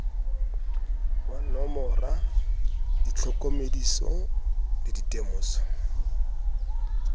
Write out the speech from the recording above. wa nomora ditlhokomediso le ditemoso